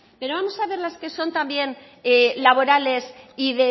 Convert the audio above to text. pero vamos a ver las que son también laborales y